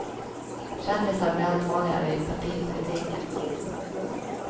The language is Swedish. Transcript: Kändisar blir allt vanligare i partipolitiken.